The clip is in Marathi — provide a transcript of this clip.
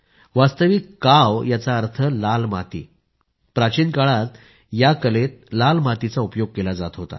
वास्तविक काव याचा अर्थ आहे लाल माती प्राचीन काळामध्ये या कलेत लाल मातीचा उपयोग केला जात होता